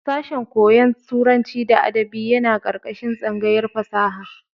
Sashen koyon turanci da adabi yana ƙarƙashin tsangayar fasaha.